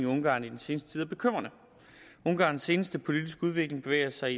ungarn i den seneste tid er bekymrende ungarns seneste politiske udvikling bevæger sig